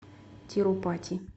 тирупати